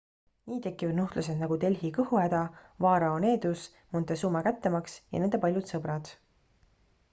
nii tekivad nuhtlused nagu delhi kõhuhäda vaarao needus montezuma kättemaks ja nende paljud sõbrad